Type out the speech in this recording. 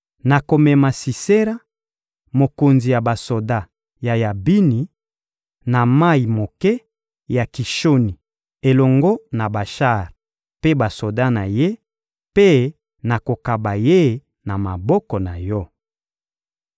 Nakomema Sisera, mokonzi ya basoda ya Yabini, na mayi moke ya Kishoni elongo na bashar mpe basoda na ye, mpe nakokaba ye na maboko na yo.»